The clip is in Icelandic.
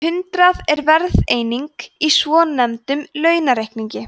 hundrað er verðeining í svonefndum landaurareikningi